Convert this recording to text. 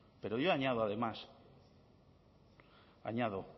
pero yo añado además añado